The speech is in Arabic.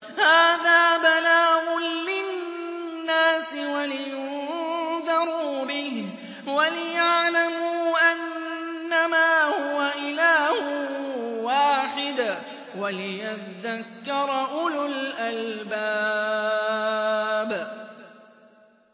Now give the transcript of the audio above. هَٰذَا بَلَاغٌ لِّلنَّاسِ وَلِيُنذَرُوا بِهِ وَلِيَعْلَمُوا أَنَّمَا هُوَ إِلَٰهٌ وَاحِدٌ وَلِيَذَّكَّرَ أُولُو الْأَلْبَابِ